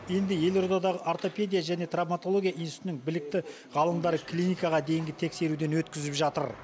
енді елордадағы ортопедия және травматология институтының білікті ғалымдары клиникаға дейінгі тексеруден өткізіп жатыр